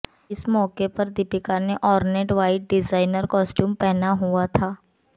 इस मौके पर दीपिका ने ऑर्नेट व्हाइट डिजाइनर कॉस्ट्यूम पहना हुआ था